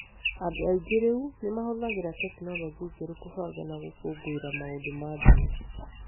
Andũ aingĩ rĩu nĩ mahũthagĩra tekinoronjĩ njerũ kũbanga na gũkũngũĩra maũndũ ma ndini.